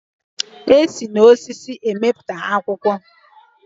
E si n'ukwu osisi emepụta akwụkwọ